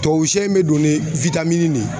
Tubabu sɛ in bɛ don ni de ye